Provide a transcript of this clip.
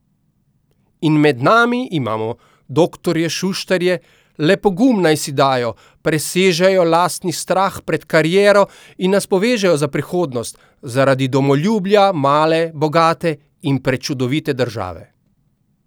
In med nami imamo doktorje Šuštarje, le pogum naj si dajo, presežejo lastni strah pred kariero, in nas povežejo za prihodnost, zaradi domoljubja male bogate in prečudovite države!